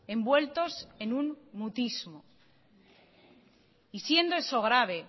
envueltos en un mutismo y siendo eso grave